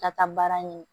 Ka taa baara ɲini